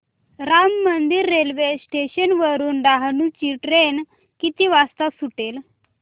Ram Mandir railway station वरुन डहाणू ची train किती वाजता सुटेल